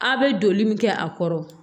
A bɛ donli min kɛ a kɔrɔ